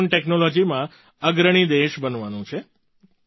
આપણે ડ્રૉન ટૅક્નૉલૉજીમાં અગ્રણી દેશ બનવાનું છે